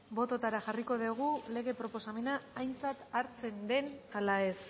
bototara jarriko dugu lege proposamena aintzat hartzen den ala ez